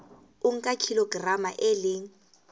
o nka kilograma e le